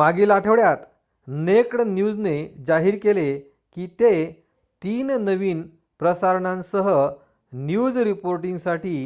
मागील आठवड्यात नेक्ड न्यूजने जाहीर केले की ते 3 नवीन प्रसारणांसह न्यूज रिपोर्टिंगसाठी